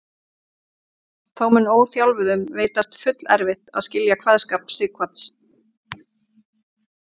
Þó mun óþjálfuðum veitast fullerfitt að skilja kveðskap Sighvats.